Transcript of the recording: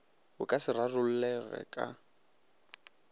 bo ka se rarollege ka